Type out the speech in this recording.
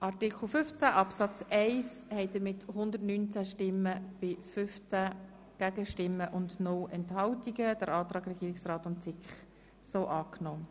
Sie haben Artikel 15 Absatz 1 gemäss Antrag SiK und Regierungsrat angenommen.